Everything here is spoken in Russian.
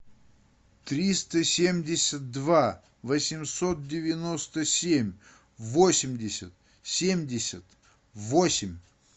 триста семьдесят два восемьсот девяносто семь восемьдесят семьдесят восемь